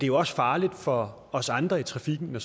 jo også farligt for os andre i trafikken når